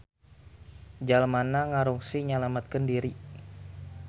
Jalmana ngarungsi nyalametkeun diri.